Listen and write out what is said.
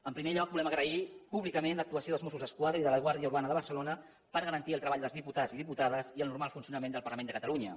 en primer lloc volem agrair públicament l’actuació dels mossos d’esquadra i de la guàrdia urbana de barcelona per garantir el treball dels diputats i diputades i el normal funcionament del parlament de catalunya